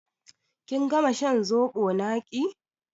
Kin gama shan zobo naƙi?